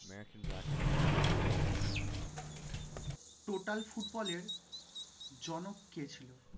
Total ফুটবলের জনক কে ছিল?